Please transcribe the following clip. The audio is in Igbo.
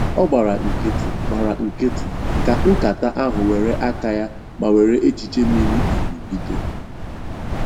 Ọ gbara nkịtị, gbara nkịtị, ka nkata ahụ were aka ya ma were echiche miri emi bido